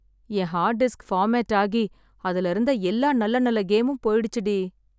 என் hard disk format ஆகி அதுல இருந்த எல்லா நல்ல நல்ல கேமும் போயிடுச்சு டி.